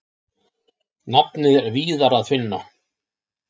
Nafnið er víðar að finna.